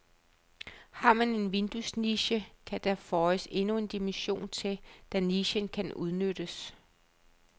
Har man en vinduesniche, kan der føjes endnu en dimension til, da nichen kan udnyttes.